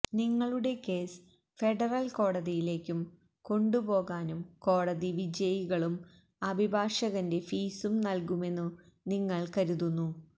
നിങ്ങളുടെ case federal കോടതിയിലേക്കും കൊണ്ടുപോകാനും കോടതി വിജയികളും അഭിഭാഷകന്റെ ഫീസും നൽകുമെന്നു നിങ്ങൾ കരുതുന്നു